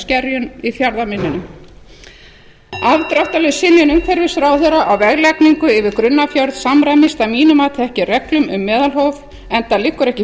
skerjum í fjarðarmynninu afdráttarlaus synjun umhverfisráðherra á veglagningu yfir grunnafjörð samræmist að mínu mati ekki reglum um meðalhóf enda liggur ekki